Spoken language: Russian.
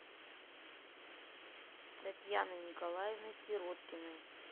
татьяной николаевной сироткиной